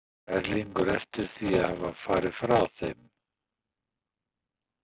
Sér Erlingur eftir því að hafa farið frá þeim?